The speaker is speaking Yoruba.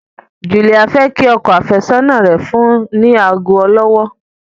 Julia fẹ kí ọkọ afesọna rẹ fún ni ago olówó.